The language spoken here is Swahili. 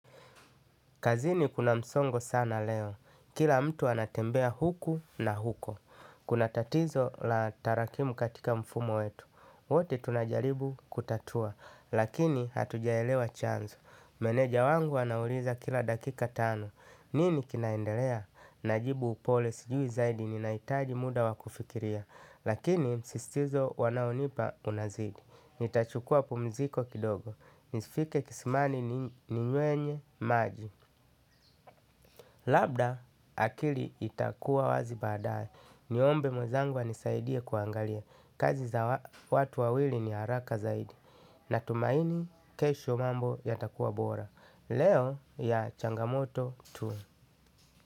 Kazini kuna msongo sana leo. Kila mtu anatembea huku na huko. Kuna tatizo la tarakimu katika mfumo wetu. Wote tunajaribu kutatua. Lakini hatujaelewa chanzo. Meneja wangu anauliza kila dakika tano. Nini kinaendelea? Najibu upole sijui zaidi ninahitaji muda wa kufikiria. Lakini zisizo wanaonipa unazidi. Nitachukuwa pumziko kidogo. Nisifike kisimani ninyuenye maji. Labda akili itakuwa wazi baadae. Niombe mwenzangu anisaidie kuangalia. Kazi za watu wawili ni haraka zaidi. Natumaini kesho mambo yatakuwa bora. Leo ya changamoto tu.